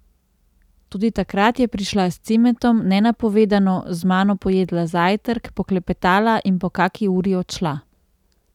Tudi takrat je prišla s Cimetom, nenapovedano, z mano pojedla zajtrk, poklepetala in po kaki uri odšla.